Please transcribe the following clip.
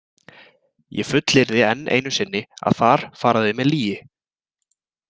Ég fullyrði enn einu sinni að þar fara þau með lýgi.